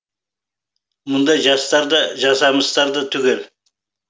мұндай жастар да жасамыстар да түгел